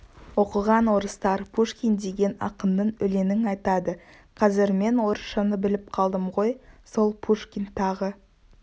оқыған орыстар пушкин деген ақынның өлеңін айтады қазір мен орысшаны біліп қалдым ғой сол пушкин тағы